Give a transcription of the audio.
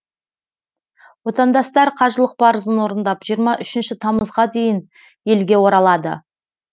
отандастар қажылық парызын орындап жиырма үшінші тамызға дейін елге оралады